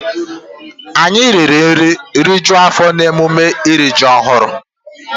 Anyị riri nri rijuo afọ n'emume iri ji ọhụrụ.